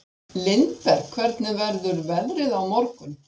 Lindberg, hvernig verður veðrið á morgun?